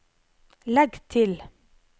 legg til